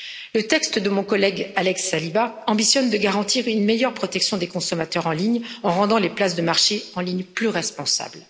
Le texte de mon collègue, Alex Agius Saliba, ambitionne de garantir une meilleure protection des consommateurs en ligne en rendant les places de marché en ligne plus responsables.